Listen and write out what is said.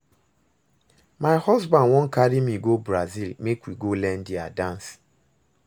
My husband wan carry me go Brazil Make we go learn their dance